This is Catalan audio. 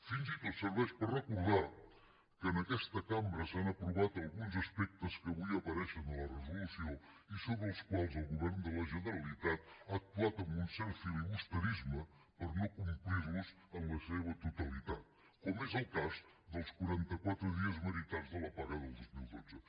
fins i tot serveix per recordar que en aquesta cambra s’han aprovat alguns aspectes que avui apareixen a la resolució i sobre els quals el govern de la generalitat ha actuat amb un cert filibusterisme per no complir los en la seva totalitat com és el cas dels quaranta quatre dies meritats de la paga del dos mil dotze